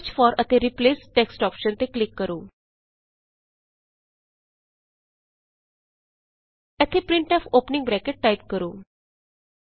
search for ਅਤੇ replace text option ਤੇ click ਕਰੋ ਇਥੇ ਪ੍ਰਿੰਟਫ ਔਪਨਿੰਗ ਬਰੈਕਟ ਟਾਈਪ ਕਰੋ